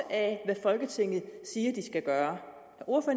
af hvad folketinget siger de skal gøre